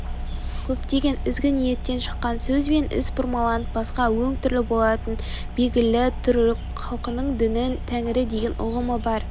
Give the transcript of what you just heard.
көптеген ізгі ниеттен шыққан сөз бен іс бұрмаланып басқа өң-түр алатыны белгілі түрік халқының діні тәңірі деген ұғым бар